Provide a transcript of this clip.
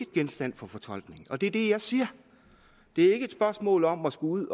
genstand for fortolkning og det er det jeg siger det er ikke et spørgsmål om at skulle